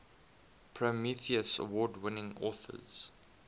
prometheus award winning authors